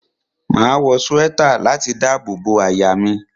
Máa wọ swẹ́tà láti dábò bo àyà mi.